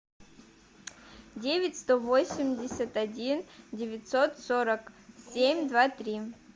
девять сто восемьдесят один девятьсот сорок семь два три